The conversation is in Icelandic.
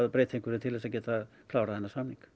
breyta einhverju til að geta klárað þennan samning